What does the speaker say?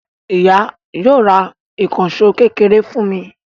Ìyá yóò ra ìkànṣọ́ kékeré fún ní